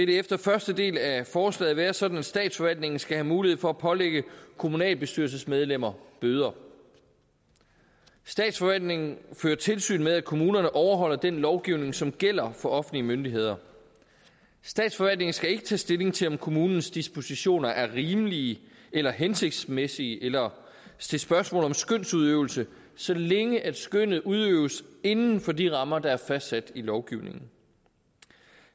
det efter første del af forslaget vil være sådan at statsforvaltningen skal have mulighed for at pålægge kommunalbestyrelsesmedlemmer bøder statsforvaltningen fører tilsyn med at kommunerne overholder den lovgivning som gælder for offentlige myndigheder statsforvaltningen skal ikke tage stilling til om kommunens dispositioner er rimelige eller hensigtsmæssige eller stille spørgsmål om skønsudøvelse så længe skønnet udøves inden for de rammer der er fastsat i lovgivningen